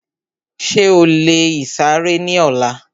Ṣé o lè ìsàrẹ́ ní ọlá?